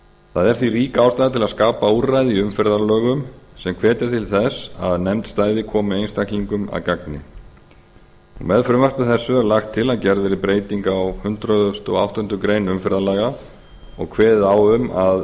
það er því rík ástæða til að skapa úrræði í umferðarlögum sem hvetja til þess að nefnd stæði komi einstaklingum að gagni með frumvarpi þessu er lagt til að gerð verði breyting á hundrað og áttundu greinar umferðarlaga og kveðið á um að